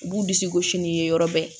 U b'u disi gosi ni ye yɔrɔ bɛɛ